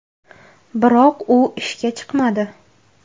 Biroq u ishga chiqmadi.